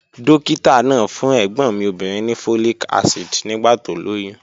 Dókítà náà fún ẹ̀gbọ́n mi obìnrin ní folic acid nígbà tó lóyún